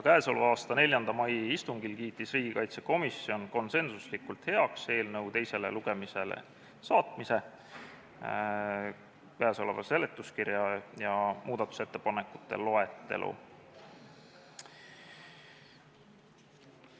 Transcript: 4. mai istungil kiitis riigikaitsekomisjon konsensuslikult heaks eelnõu teisele lugemisele saatmise, käesoleva seletuskirja ja muudatusettepanekute loetelu.